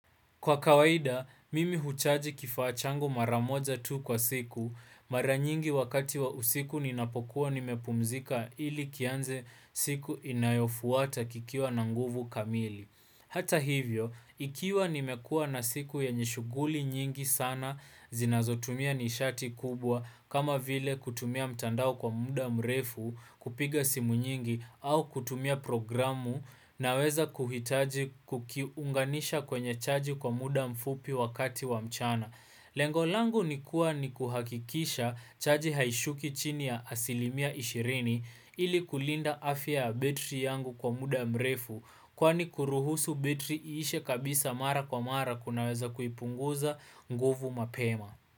Kwa kawaida, mimi huchaji kifaa changu mara moja tu kwa siku, mara nyingi wakati wa usiku ninapokuwa nimepumzika ili kianze siku inayofuata kikiwa na nguvu kamili. Hata hivyo, ikiwa nimekuwa na siku yenye shughuli nyingi sana zinazotumia nisharti kubwa kama vile kutumia mtandao kwa muda mrefu kupiga simu nyingi au kutumia programu naweza kuhitaji kukiunganisha kwenye chaji kwa muda mfupi wakati wa mchana. Lengo langu ni kuwa nikuhakikisha chaji haishuki chini ya asilimia ishirini ili kulinda afya ya betri yangu kwa muda mrefu kwani kuruhusu betri iishe kabisa mara kwa mara kunaweza kuipunguza nguvu mapema.